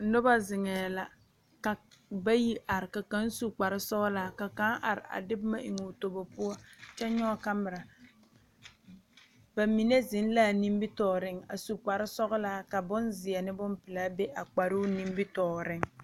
Noba zeŋɛɛ la ka bayi are ka kaŋ su kparesɔglaa ka kaŋ are a de boma eŋ o tobo poɔ kyɛ nyɔge kamera ba mine zeŋ l,a nimitɔɔreŋ a su kparesɔglaa ka bonzeɛ ne bonpelaa be a kparoo nimitɔɔreŋ.